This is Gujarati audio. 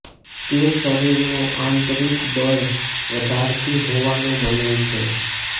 તે શરીરનું આંતરિક બળ વધારતી હોવાનું મનાય છે